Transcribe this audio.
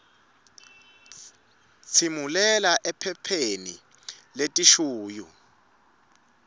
tsimulela ephepheni letishuyu